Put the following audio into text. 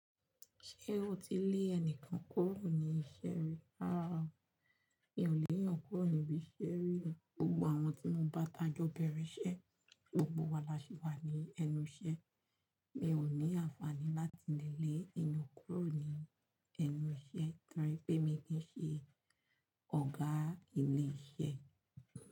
Ṣé o ti lé ẹnìkan kúrò ní ìṣẹ́ rí? Rárá, mi ò lè yàn kúrò níbí ṣẹ́rí. Gbogbo àwọn tí mo bá tajọ́ bẹ̀rẹ̀ ṣẹ, gbogbo wa la ṣì wà ní ẹnu iṣẹ́. Mi ò ní àǹfààní láti lè lé èèyàn kúrò ní ẹnu ṣẹ́ nítorí pé mi kí n ṣe ọ̀gá ilé iṣẹ́.